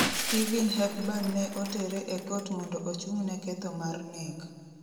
Stephen Hepburn ne otere e kot mondo ochung'ne ketho mar nek.